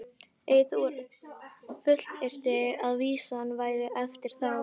Eyþór fullyrti að vísan væri eftir þá